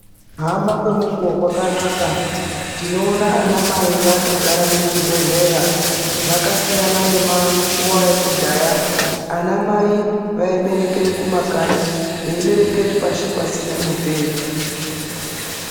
Kuhamba kwemukuwo kwakanaka, tinoona anamai vakagare muchi bhedhlera. Zvakasiyana nenguwa yekudhaya anamai vaiberekere kumakanyi veiberekere pashi pasina mubhedhu.